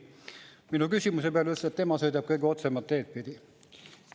Minu küsimuse peale ütles, et tema sõidab kõige otsemat teed pidi.